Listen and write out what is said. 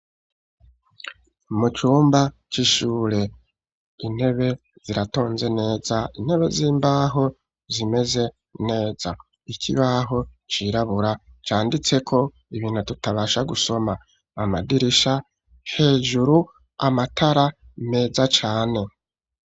Mu cumba c'ishure intebe ziratonze neza, intebe z'imbaho zimeze neza ikibaho cirabura canditseko ibintu tutabasha gusoma. Amadirisha hejuru, amatara meza cane.